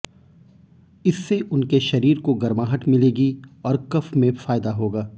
इससे उनके शरीर को गर्माहट मिलेगी और कफ में फायदा होगा